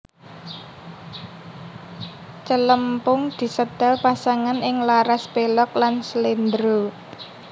Celempung disetel pasangan ing laras pelog lan slendro